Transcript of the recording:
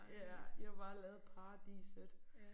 Ja I har bare lavet paradiset